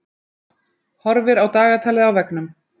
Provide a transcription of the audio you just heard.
Horfir á dagatalið á veggnum.